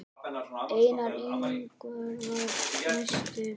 Einar Indra var næstur.